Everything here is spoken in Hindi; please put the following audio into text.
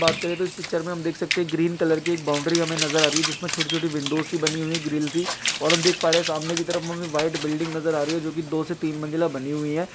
बात करें तो इस पिक्चर में हम देख सकते हैं ग्रीन कलर की एक बाउंड्री हमें नजर आ रही है जिसमें छोटी-छोटी विंडोज़ सी बनी हुई है ग्रिल सी और हम देख पा रहे सामने की तरफ हमे व्हाइट बिल्डिंग नजर आ रही है जो की दो से तीन मंजिला बनी हुई है।